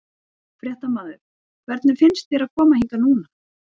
Fréttamaður: Hvernig finnst þér að koma hingað núna?